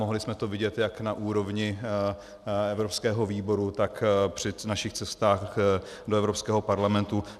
Mohli jsme to vidět jak na úrovni evropského výboru, tak při našich cestách do Evropského parlamentu.